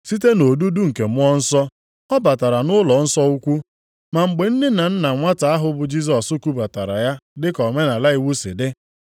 Site nʼodudu nke Mmụọ Nsọ, ọ batara nʼụlọnsọ ukwu, ma mgbe nne na nna nwata ahụ bụ Jisọs kubatara ya dị ka omenaala iwu si dị,